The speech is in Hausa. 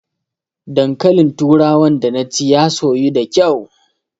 Dankalin turawan da naci ya soyu da kyau